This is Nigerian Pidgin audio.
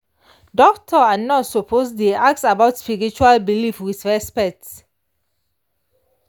doctor and nurse suppose dey ask about spiritual belief with respect.